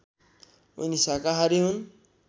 उनी शाकाहारी हुन्